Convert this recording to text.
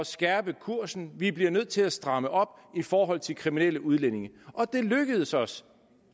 skærpe kursen vi bliver nødt til at stramme op i forhold til kriminelle udlændinge og det lykkedes os